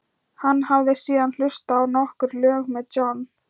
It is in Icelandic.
Hann hafði síðan hlustað á nokkur lög með John